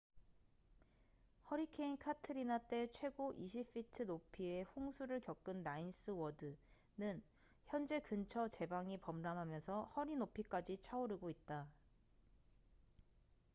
허리케인 카트리나 때 최고 20 feet 높이의 홍수를 겪은 나인스 워드the ninth ward는 현재 근처 제방이 범람하면서 허리 높이까지 차오르고 있다